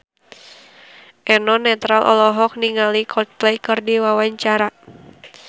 Eno Netral olohok ningali Coldplay keur diwawancara